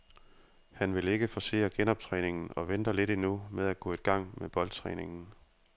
Han vil ikke forcere genoptræningen og venter lidt endnu med at gå i gang med boldtræningen.